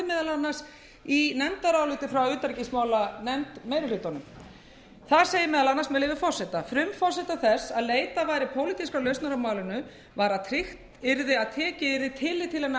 annars í nefndaráliti frá utanríkismálanefnd meiri hlutans þar segir meðal annars með leyfi forseta frumforsenda þess að leitað væri pólitískrar lausnar á málinu var að tryggt yrði að tekið yrði tillit til hinna erfiðu aðstæðna sem nú eru uppi